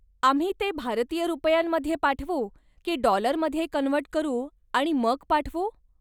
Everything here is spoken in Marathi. आम्ही ते भारतीय रुपयांमध्ये पाठवू की डॉलरमध्ये कन्व्हर्ट करू आणि मग पाठवू?